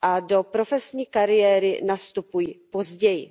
Do profesní kariéry nastupují později.